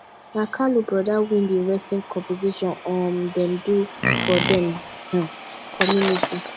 na kalu broda win the wrestling competition um dem do for dem um community